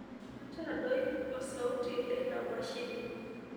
ntadoi osauti leina mashini